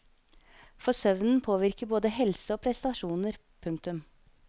For søvnen påvirker både helse og prestasjoner. punktum